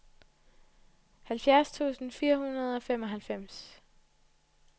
halvfjerds tusind fire hundrede og femoghalvfems